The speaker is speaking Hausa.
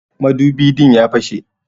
Madubi din ya fashe.